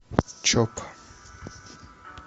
чоп